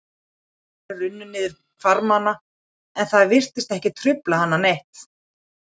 Tárin runnu niður hvarmana en það virtist ekki trufla hana neitt.